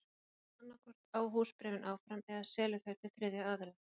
Seljandinn annað hvort á húsbréfin áfram eða selur þau til þriðja aðila.